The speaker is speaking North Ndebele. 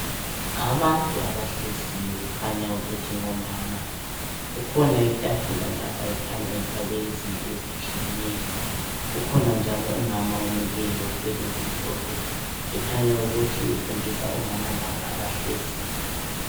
Abantu abahleziyo kukhanya ukuthi ngomama. Kukhona itafula lapha ekhanya efakwe izinto ezitshiyeneyo. Kukhona njalo umama omileyo othwele okumhlophe, ekhanya ukuthi ufundisa omama laba abahleziyo.